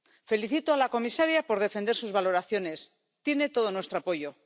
Felicito a la comisaria por defender sus valoraciones. Tiene todo nuestro apoyo.